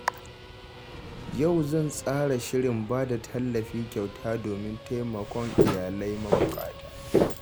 Yau zan tsara shirin bada tallafi kyauta domin taimakon iyalai mabuƙata.